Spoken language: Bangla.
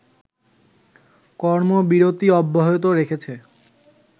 কর্মবিরতি অব্যাহত রেখেছে